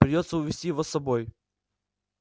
придётся увести его с собой